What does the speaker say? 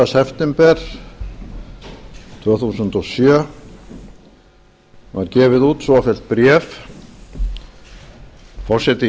september tvö þúsund og sjö var gefið út svofellt bréf forseti